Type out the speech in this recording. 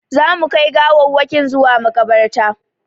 Za mu kai gawawwakin zuwa maƙabarta